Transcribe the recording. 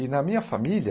E na minha família,